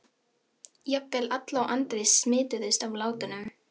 Jafnvel Alla og Andri smituðust af látunum.